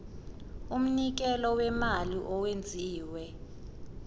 umnikelo wemali owenziwe